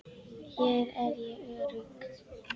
Hér er ég örugg.